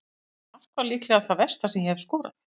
Þetta mark var líklega það versta sem ég hef skorað.